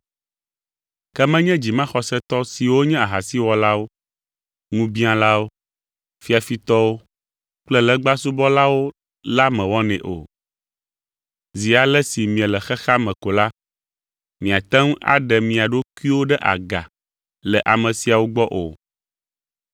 Ke menye dzimaxɔsetɔ siwo nye ahasiwɔlawo, ŋubiãlawo, fiafitɔwo kple legbasubɔlawo la mewɔnɛ o. Zi ale si miele xexea me ko la, miate ŋu aɖe mia ɖokuiwo ɖe aga le ame siawo gbɔ o.